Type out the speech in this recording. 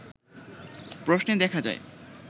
প্রশ্নে দেখা যায়